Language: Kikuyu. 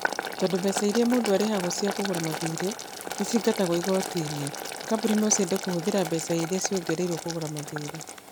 Tondũ mbeca iria mũndũ arĩhagwo cia kũgũra mathiirĩ nĩ ciingatagio igooti-inĩ, kambuni no ciende kũhũthĩra mbeca iria ciongereirũo kũgũra mathiirĩ.